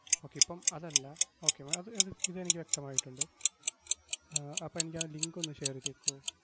okay ഇപ്പം അതല്ല, okay മ~ അത് അത് ഇതെനിക്ക് വ്യക്തമായിട്ടൊണ്ട്. ആഹ് അപ്പം എനിക്കാ link ഒന്ന് share എയ്‌തേക്കുവോ?